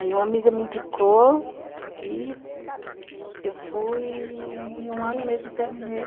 Aí uma amiga me indicou e eu fui, em um ano mesmo terminei.